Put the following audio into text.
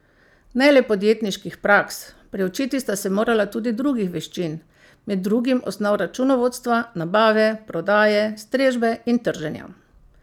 Ne le podjetniških praks, priučiti sta se morala tudi drugih veščin, med drugim osnov računovodstva, nabave, prodaje, strežbe in trženja.